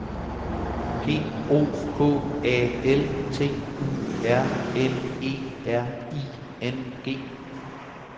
P O K A L T U R N E R I N G